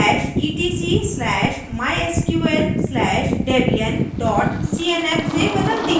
slash etc slash mysql slash debian dot cnf से बदलती हूँ